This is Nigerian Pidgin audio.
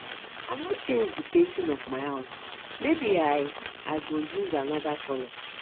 i wan change the painting of my house maybe i i go use another colour